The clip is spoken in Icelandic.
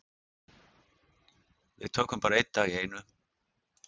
Við tökum bara einn dag í einu.